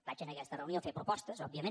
vaig a aquesta reunió a fer propostes òbviament